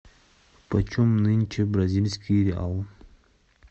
почем нынче бразильский реал